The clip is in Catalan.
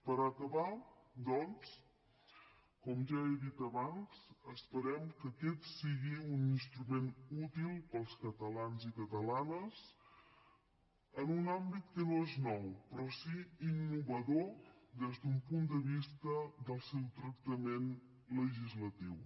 per acabar doncs com ja he dit abans esperem que aquest sigui un instrument útil per als catalans i catalanes en un àmbit que no és nou però sí innovador des d’un punt de vista del seu tractament legislatiu